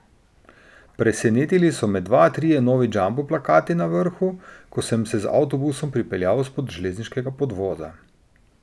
Presenetili so me dva, trije novi jumbo plakati na vrhu, ko sem se z avtobusom pripeljal spod železniškega podvoza.